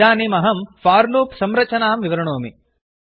इदानीमहं for loop संरचनां विवृणोमि